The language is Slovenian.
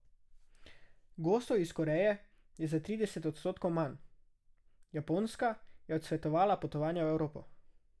Gostov iz Koreje je za trideset odstotkov manj, Japonska je odsvetovala potovanja v Evropo.